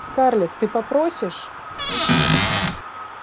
скарлетт ты попросишь